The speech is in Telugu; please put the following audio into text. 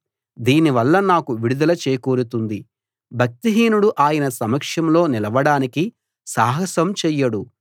దీని వల్ల నాకు విడుదల చేకూరుతుంది భక్తిహీనుడు ఆయన సమక్షంలో నిలవడానికి సాహసం చెయ్యడు